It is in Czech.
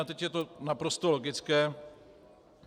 A teď je to naprosto logické.